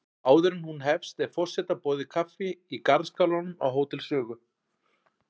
Áður en hún hefst er forseta boðið kaffi í garðskálanum á Hótel Sögu.